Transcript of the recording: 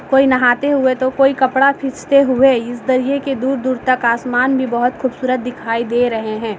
कोई नहाते हुए तो कोई कपड़ा खीचते हुए इस दरिये के दूर-दूर तक आसमान भी बहुत खूबसूरत दिखाई दे रहे है।